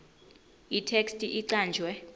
itheksthi icanjwe